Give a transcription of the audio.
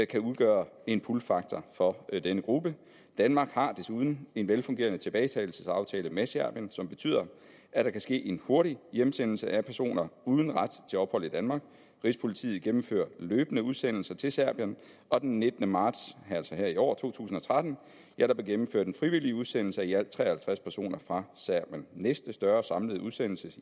kan udgøre en pullfaktor for denne gruppe danmark har desuden en velfungerende tilbagetagelsesaftale med serbien som betyder at der kan ske en hurtig hjemsendelse af personer uden ret til ophold i danmark rigspolitiet gennemfører løbende udsendelser til serbien og den nittende marts altså her i år to tusind og tretten blev der gennemført en frivillig udsendelse af i alt tre og halvtreds personer fra serbien næste større samlede udsendelse